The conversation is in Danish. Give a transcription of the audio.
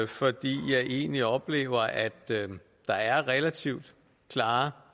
fordi jeg egentlig oplever at der er relativt klare